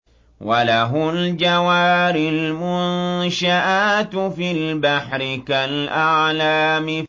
وَلَهُ الْجَوَارِ الْمُنشَآتُ فِي الْبَحْرِ كَالْأَعْلَامِ